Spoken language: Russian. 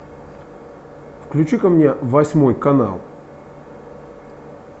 включи ка мне восьмой канал